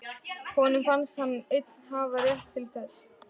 Honum fannst hann einn hafa rétt til þess.